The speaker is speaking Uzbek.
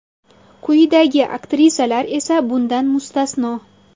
Quyidagi aktrisalar esa bundan mustasno.